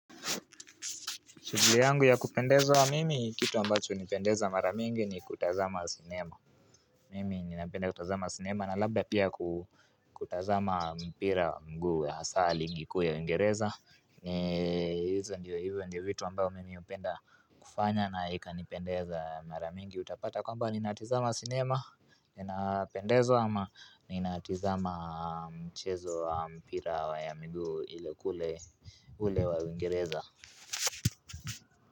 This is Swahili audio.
Shughuli yangu ya kupendezwa na mimi ni kitu ambacho hunipendeza mara mingi ni kutazama sinema. Mimi ninapenda kutazama wa sinema na labda pia kutazama mpira wa mguu, hasa ligi kuu wa Uingereza hizo ndio hivo ndio vitu ambao mimi hupenda kufanya na ikanipendeza mara mingi utapata kwamba ninatizama sinema inapendeza ama ninatizama mchezo wa mpira wa ya mguu ile kule ule wa Uingereza.